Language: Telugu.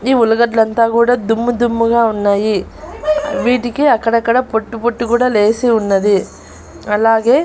ది ఉల్లగడ్డలంతా గూడా దుమ్ము దుమ్ముగా ఉన్నాయి వీటికి అక్కడక్కడ పొట్టు పొట్టు కూడా లేసి ఉన్నది అలాగే--